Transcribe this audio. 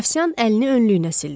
Afsiyan əlini önlüyünə sildi.